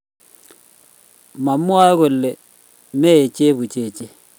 mamwae kole mei chebuchechet